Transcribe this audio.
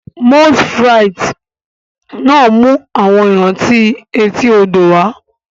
Moules frites náà mú àwọn ìrántí etí odò wá